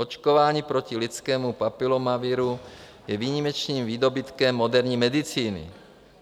Očkování proti lidskému papilomaviru je výjimečným výdobytkem moderní medicíny.